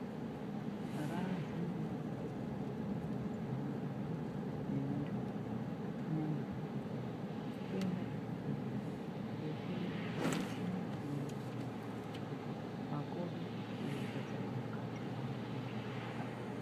Raaziema-ema madzimai neanturume kunyangwe zvidokwana kuenda kuzvibhehlera kunohloliwa ngemichini yechimanje manje kuti makodo eirwadza emukati arapike apone.